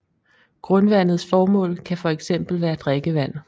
Grundvandets formål kan for eksempel være drikkevand